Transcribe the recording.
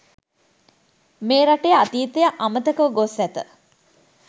මේ රටේ අතීතය අමතකව ගොස් ඇත.